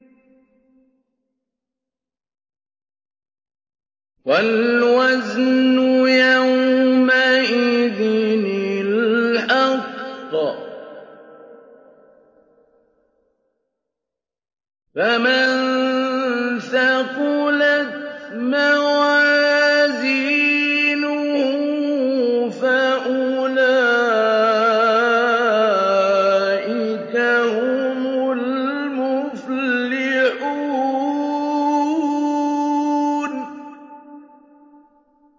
وَالْوَزْنُ يَوْمَئِذٍ الْحَقُّ ۚ فَمَن ثَقُلَتْ مَوَازِينُهُ فَأُولَٰئِكَ هُمُ الْمُفْلِحُونَ